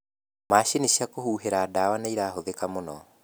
Macini cia kũhuhĩra ndawa nĩcirahũthĩka mũno.